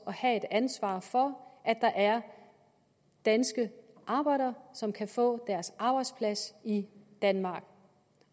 have et ansvar for at der er danske arbejdere som kan få deres arbejdsplads i danmark